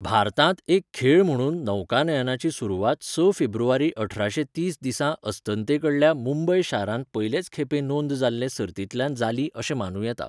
भारतांत एक खेळ म्हणून नौकानयनाची सुरवात स फेब्रुवारी अठराशे तीस दिसा अस्तंते कडल्या मुंबय शारांत पयलेच खेपे नोंद जाल्ले सर्तींतल्यान जाली अशें मानूं येता.